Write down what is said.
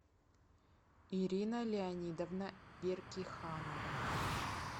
ирина леонидовна беркиханова